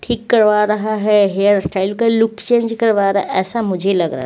ठीक करवा रहा है हेअर स्टाइल का लुक चेंज करवा रा असा मुझे लगरा--